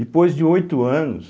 Depois de oito anos,